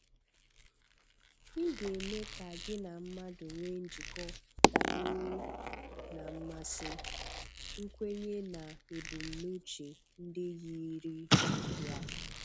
Ị ga-eme ka gị na mmadụ nwee njikọ dabere na mmasị, nkwenye na ebumnuche ndị yiri ya.